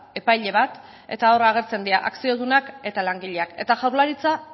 epaile bat eta hor agertzen dira akziodunak eta langileak eta jaurlaritza